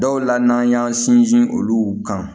Dɔw la n'an y'an sinsin olu kan